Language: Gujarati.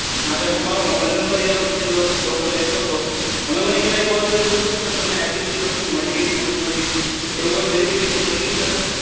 હા તો એમાં મારો મોબાઇલ નંબર એ લોકોએ લખ્યો હતો તમે મને ક્યારેય કોલ કરીને પૂછ્યું કે સર તમને આટલી ફ્રિ વસ્તુઓ મળી ગઈ કે નથી મળી એવું તમે વેરિફિકેશન કર્યું ક્યારેય